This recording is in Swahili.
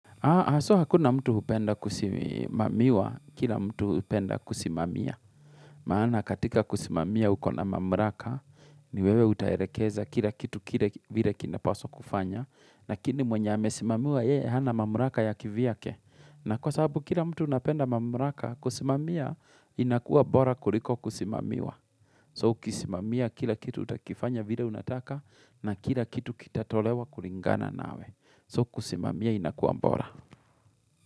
So hakuna mtu hupenda kusimamiwa, kila mtu hupenda kusimamia. Maana katika kusimamia uko na mamraka, ni wewe utaherekeza kila kitu kile vile kinapaswa kufanywa. Lakini mwenye amesimamiwa yeye, hana mamraka ya kivyake. Na kwa sababu kila mtu napenda mamraka, kusimamia inakuwa bora kuliko kusimamiwa. So kusimamia kila kitu utakifanya vile unataka, na kila kitu kitatolewa kulingana nawe. So kusimamiya inakuwa bora.